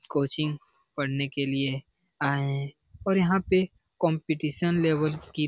coaching पढ़ने के लिए आए है और यहाँ पे कंपटीशन लेवल की --